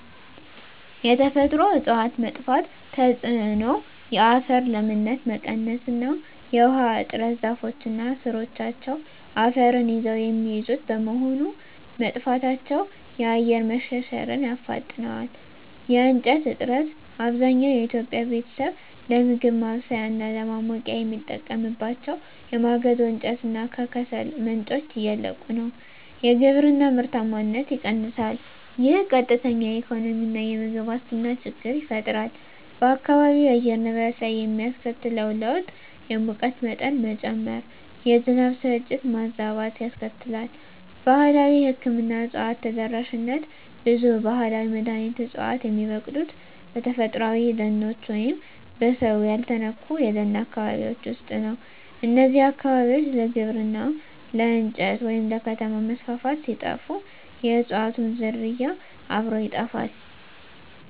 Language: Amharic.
የተፈጥሮ እፅዋት መጥፋት ተጽዕኖ የአፈር ለምነት መቀነስ እና የውሃ እጥረ ዛፎች እና ሥሮቻቸው አፈርን ይዘው የሚይዙት በመሆኑ፣ መጥፋታቸው የአፈር መሸርሸርን ያፋጥነዋል። የእንጨት እጥረት፣ አብዛኛው የኢትዮጵያ ቤተሰብ ለምግብ ማብሰያ እና ለማሞቂያ የሚጠቀምባቸው የማገዶ እንጨት እና ከሰል ምንጮች እያለቁ ነው። የግብርና ምርታማነት ይቀንሳል፣ ይህም ቀጥተኛ የኢኮኖሚና የምግብ ዋስትና ችግር ይፈጥራል። በአካባቢው የአየር ንብረት ላይ የሚያስከትለው ለውጥ የሙቀት መጠን መጨመር፣ የዝናብ ስርጭት መዛባት ያስከትላል። ባህላዊ የሕክምና እፅዋት ተደራሽነት ብዙ ባህላዊ መድኃኒት ዕፅዋት የሚበቅሉት በተፈጥሮአዊ ደኖች ወይም በሰው ያልተነኩ የደን አካባቢዎች ውስጥ ነው። እነዚህ አካባቢዎች ለግብርና፣ ለእንጨት ወይም ለከተማ መስፋፋት ሲጠፉ፣ የእፅዋቱም ዝርያ አብሮ ይጠፋል።